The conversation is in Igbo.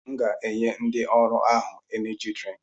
M ga-enye ndị ọrụ ahụ Eneji drịnk